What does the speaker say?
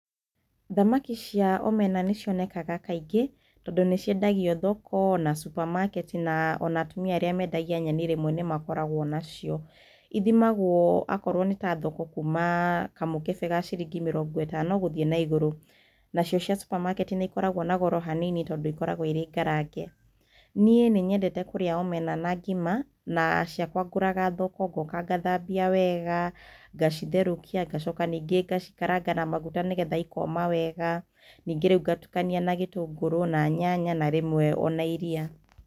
Thamaki cia omena nĩ cionekaga kaingĩ tondũ nĩ ciendagio thoko, kana supamaketi, na o na atumia arĩa mendagia nyeni rĩmwe nĩ makoragwo nacio. Ithimagwo, akorwo nĩ ta thoko, kuuma kamũkebe ka ciringi mĩrongo ĩtano gũthiĩ na igũrũ. Nacio cia supamaketi nĩ ikoragwo na goro hanini tondũ ikoragwo irĩ ngarange. Niĩ nĩ nyendete kũrĩa omena na ngima, na ciakwa ngũraga thoko, ngooka ngathambia wega, ngacitherũkia, ngacoka ningĩ ngacikaranga na maguta nĩgetha ikoma wega, ningĩ rĩu ngatukania na gĩtũngũrũ na nyanya, na rĩmwe o na iria.